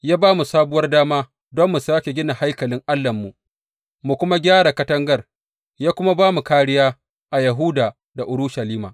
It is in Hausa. Ya ba mu sabuwar dama don mu sāke gina haikalin Allahnmu, mu kuma gyara katangar, ya kuma ba mu kāriya a Yahuda da Urushalima.